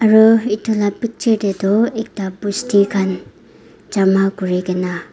uh itula picture tey tu ekta bosti khan jama kurikena.